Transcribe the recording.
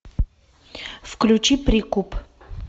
включи прикуп